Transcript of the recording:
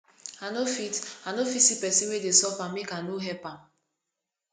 i no fit i no fit see pesin wey dey suffer make i no help am